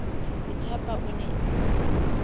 ho thapa o ne a